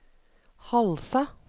Halsa